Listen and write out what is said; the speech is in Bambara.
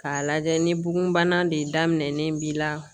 K'a lajɛ ni bugunbana de da minɛn b'i la